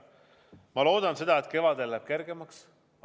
Ma loodan, et kevadel läheb kergemaks.